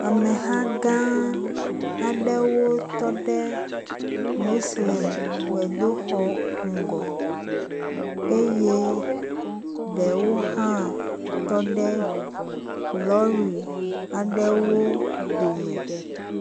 Ameha gã aɖewo tɔ ɖe moslemigbedoxɔ ŋgɔ eye ɖewo hã tɔ ɖe lɔri aɖewo dome.